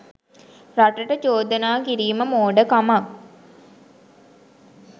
රටට චොදනා කිරිම මෝඩ කමක්